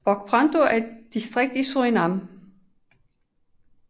Brokopondo er et distrikt i Surinam